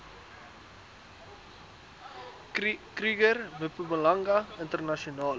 kruger mpumalanga internasionale